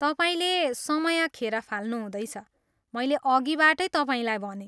तपाईँले समय खेर फाल्नुहुँदैछ, मैले अघिबाटै तपाईँलाई भनेँ।